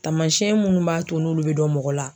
Taamasiyɛn munnu b'a to n'olu bɛ dɔn mɔgɔ la.